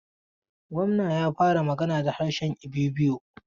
Gwamna ya fara magana da harshe Ibibio.